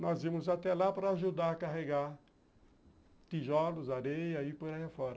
Nós íamos até lá para ajudar a carregar tijolos, areia e por aí afora.